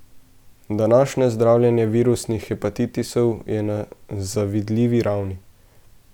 Današnje zdravljenje virusnih hepatitisov je na zavidljivi ravni.